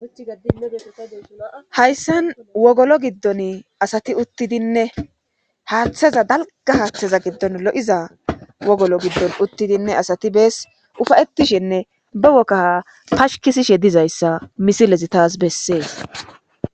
Hayssan wogolo giddon asati uttidinne haaththeza dalgga haaththeza giddon lo7iza wogolo giddon uttidinne asati bees ufayettishinne ba wogaa pashkisishe dizayssa misilezi taas bessees.